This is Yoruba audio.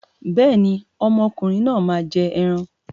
Bẹ́ẹ̀ni, ọmọ ọkùnrin náà máa jẹ ẹran.